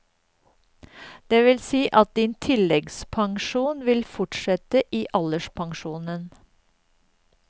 Det vil si at din tilleggspensjon vil fortsette i alderspensjonen.